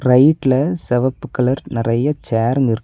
ரைட்ல செவப்பு கலர் நறைய சேருங்க இருக்--